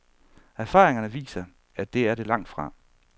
Erfaringerne viser, at det er det langtfra.